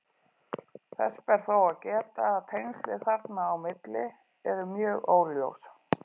Þess ber þó að geta að tengslin þarna á milli eru mjög óljós.